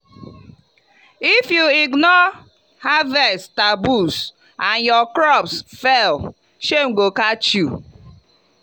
if you ignore harvest taboos and your crops fail shame go catch you.